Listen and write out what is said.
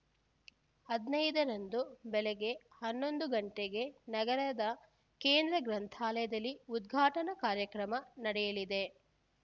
ಹದಿನೈದರಂದು ಬೆಳಗ್ಗೆ ಹನ್ನೊಂದು ಗಂಟೆಗೆ ನಗರದ ಕೇಂದ್ರ ಗ್ರಂಥಾಲಯದಲ್ಲಿ ಉದ್ಘಾಟನಾ ಕಾರ್ಯಕ್ರಮ ನಡೆಯಲಿದೆ